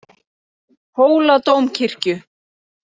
Hóladómkirkju